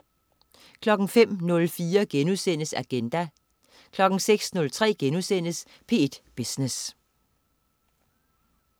05.04 Agenda* 06.03 P1 Business*